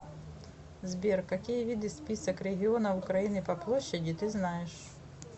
сбер какие виды список регионов украины по площади ты знаешь